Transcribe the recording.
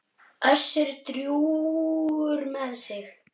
Össur drjúgur með sig.